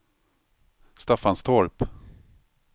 Staffanstorp